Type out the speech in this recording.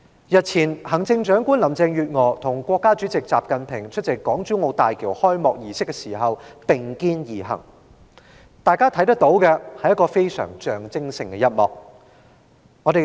日前，行政長官林鄭月娥和國家主席習近平出席港珠澳大橋開幕儀式時並肩而行，大家都看到象徵性的一幕。